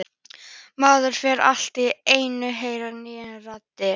Maður fer allt í einu að heyra nýjar raddir.